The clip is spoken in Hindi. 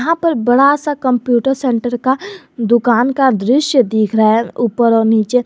बड़ा सा कंप्यूटर सेंटर का दुकान का दृश्य दिख रहा है ऊपर और नीचे।